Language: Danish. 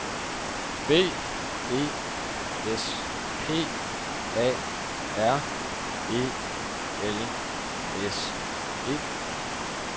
B E S P A R E L S E